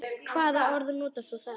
Hvaða orð notar þú þá?